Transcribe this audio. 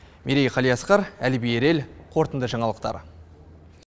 мерей қалиасқар әліби ерел қорытынды жаңалықтар